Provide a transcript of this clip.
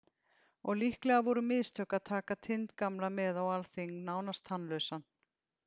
Og líklega voru mistök að taka Tind gamla með á alþing, nánast tannlausan.